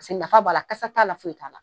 Paseke nafa b'a la, kasa t'a la, foyi t'a la.